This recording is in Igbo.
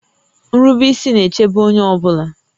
Nrube ísí na-èchébé onyé ọ bụla